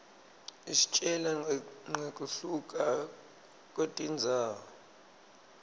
isitjela nqekuhluka kwetindzawo